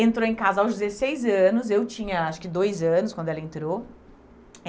Entrou em casa aos dezesseis anos, eu tinha acho que dois anos quando ela entrou.